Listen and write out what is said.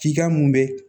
F'i ka mun bɛ